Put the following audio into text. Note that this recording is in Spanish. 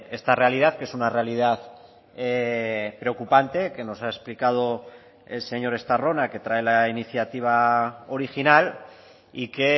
esta realidad que es una realidad preocupante que nos ha explicado el señor estarrona que trae la iniciativa original y que